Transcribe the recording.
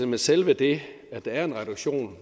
men selve det at der er en reduktion